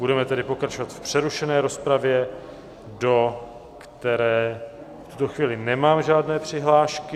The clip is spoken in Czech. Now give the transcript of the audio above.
Budeme tedy pokračovat v přerušené rozpravě, do které v tuto chvíli nemám žádné přihlášky.